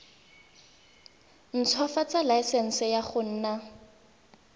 ntshwafatsa laesense ya go nna